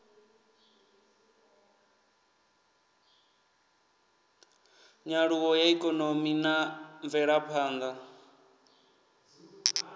nyaluwo ya ikonomi na mvelaphanḓa